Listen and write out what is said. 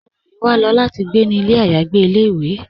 Olóri wà ló láti gbé ní ilẹ̀ ayàgbè ilẹ̀-ìwé